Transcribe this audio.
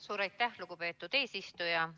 Suur aitäh, lugupeetud eesistuja!